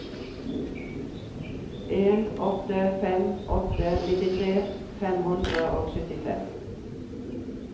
en åtte fem åtte nittitre fem hundre og syttifem